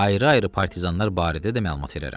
Ayrı-ayrı partizanlar barədə də məlumat verərəm.